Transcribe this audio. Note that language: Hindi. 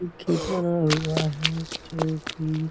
ई खेतवा हुआ है जोकि --